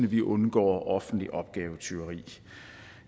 vi undgår offentligt opgavetyveri